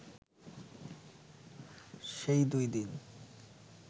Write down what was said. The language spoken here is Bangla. সেই দুই দিন